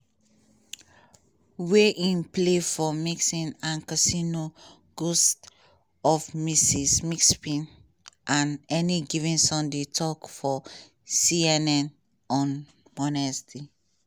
wey im play for nixon and casino ghosts of mississippi and any given sunday tok for cnn on wednesday.